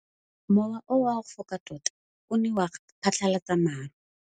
Mowa o wa go foka tota o ne wa phatlalatsa maru.